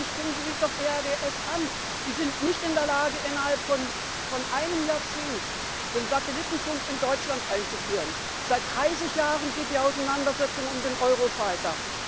Schauen Sie sich doch EADS an Die sind nicht in der Lage, innerhalb von einem Jahrzehnt den Satellitenfunk in Deutschland einzuführen, seit 30 Jahren geht die Auseinandersetzung um den Eurofighter!